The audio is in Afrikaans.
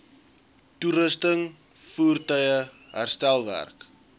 toerusting voertuie herstelwerk